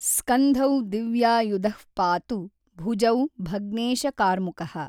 ಸ್ಕಂಧೌ ದಿವ್ಯಾಯುಧಃ ಪಾತು ಭುಜೌ ಭಗ್ನೇಶಕಾರ್ಮುಕಃ।